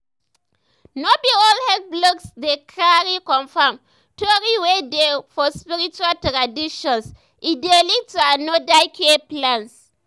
no be all the health blogs dey cari confirm tori wey dey for spiritual traditions e dey lead to another care plans.